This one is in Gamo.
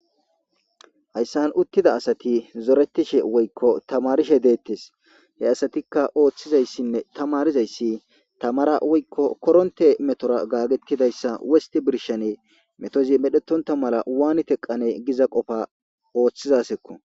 Hayssan uttida asati zoretishe woykko tamarishe deettes he asatikka ooththizayssinne tamarizayssi tamara woykko koronte metora gaagetidayssa wosti birshane metozi medhetonta mala waani teqane giza qofa ooththizasekko